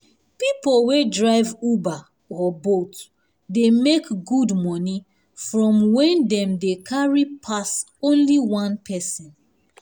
people wey drive uber or bolt dey make good money from when dem dey carry pass only one person